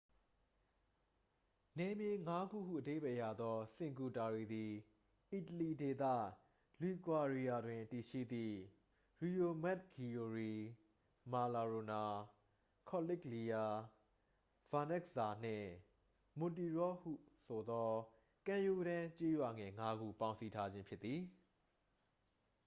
နယ်မြေငါးခုဟု အဓိပ္ပာယ်ရသော စင်ကူတာရီသည် အီတလီဒေသ လီဂွာရီယာတွင် တည်ရှိသည့် ရီယိုမဂ်ဂီယိုရီ မာနာရိုလာ ကော်နစ်လီယာ ဗာနက်ဇ်ဇာနှင့် မွန်တီရော့ဆိုဟုခေါ်သော ကမ်းရိုးတန်း ကျေးရွာငယ်ငါးခု ပေါင်းစည်းထားခြင်း ဖြစ်သည်